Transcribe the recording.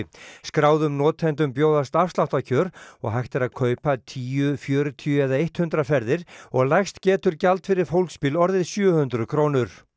skráðum notendum bjóðast afsláttarkjör og hægt er að kaupa tíu fjörutíu eða hundrað ferðir og lægst getur gjald fyrir fólksbíl orðið sjö hundruð krónur